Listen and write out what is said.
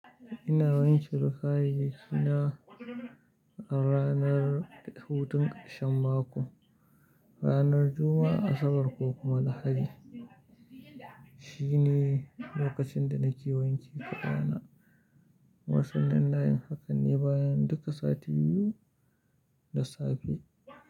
Ina wanke rufaye dina a ranar hutun ƙarshen mako, ranar Juma'a, Asabar ko kuma Lahadi. Shine lokacin da nake wanke ƙafa na. Wasun nan na yin hakan ne bayan duka sati biyu da safe.